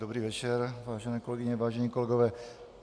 Dobrý večer, vážené kolegyně, vážení kolegové.